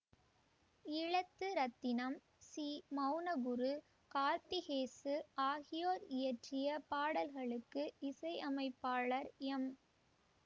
ஈழத்து ரத்தினம் சி மெளனகுரு கார்த்திகேசு ஆகியோர் இயற்றிய பாடல்களுக்கு இசை அமைப்பாளர் எம்